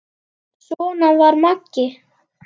Svona var Maggi.